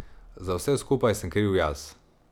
Za vse skupaj sem kriv jaz.